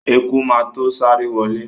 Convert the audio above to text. Eku má to sáré wọlé.